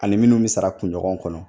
Ani minnu bɛ sara kunɲɔgɔn kɔnɔ